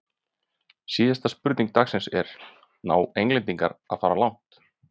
Síðari spurning dagsins er: Ná Englendingar að fara langt?